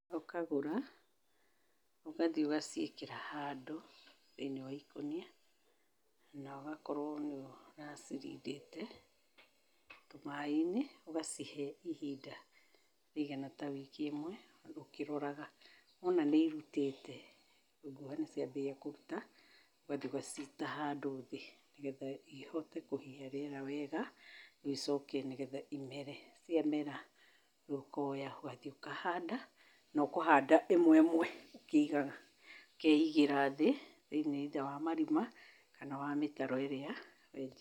Ũkagũra, ũgathiĩ ũgaciĩkĩra handũ thĩiniĩ wa ikũnia, na ũgakorwo nĩ ũracirindĩte tũmaaĩ-inĩ. Ũgacihe ihinda rĩigana ta wiki ĩmwe, ũkĩroraga. Wona nĩ irutĩte, ngũha nĩ ciambĩrĩria kũruta, ũgathiĩ ũgaciita handũ thĩ nĩgetha ihote kũhihia rĩera wega, icoke nĩgetha imere. Ciamera, rĩu ũkoya ũgathiĩ ũkahanda na ũkũhanda ĩmwe ĩmwe ũkĩigaga, ũkeigĩra thĩ thĩiniĩ wa marima kana wa mĩtaro ĩrĩa wenjete.